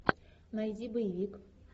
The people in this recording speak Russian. найди боевик